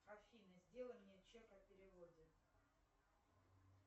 афина сделай мне чек о переводе